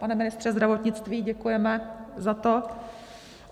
Pane ministře zdravotnictví, děkujeme za to.